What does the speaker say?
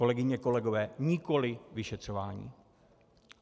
Kolegyně, kolegové, nikoli vyšetřování.